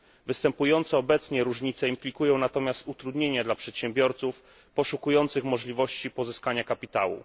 Występujące obecnie różnice implikują natomiast utrudnienia dla przedsiębiorców poszukujących możliwości pozyskania kapitału.